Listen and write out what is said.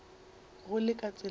go le ka tsela yeo